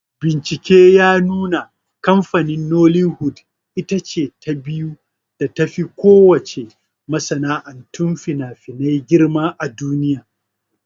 Bincike ya nuna kamfanin "Nollywood"ita ce ta biyu da tafi ko wace masana'antun finafinai girma a duniya.